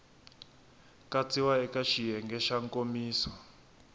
katsiwa eka xiyenge xa nkomiso